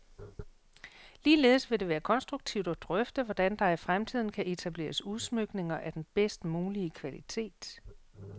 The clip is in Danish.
Ligeledes vil det være konstruktivt at drøfte, hvordan der i fremtiden kan etableres udsmykninger af den bedst mulige kvalitet.